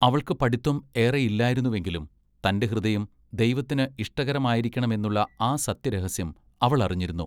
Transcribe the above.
അവൾക്ക് പഠിത്വം ഏറെ ഇല്ലായിരുന്നു എങ്കിലും തന്റെ ഹൃദയം ദൈവത്തിന് ഇഷ്ടകരമായിരിക്കെണമെന്നുള്ള ആ സത്യ രഹസ്യം അവൾ അറിഞ്ഞിരുന്നു.